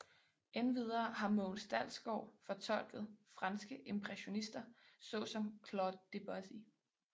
Endvidere har Mogens Dalsgaard fortolket franske impressionister såsom Claude Debussy